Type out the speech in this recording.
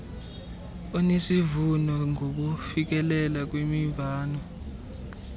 onesivuno ngokufikelela kwimvano